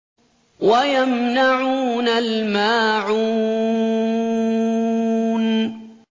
وَيَمْنَعُونَ الْمَاعُونَ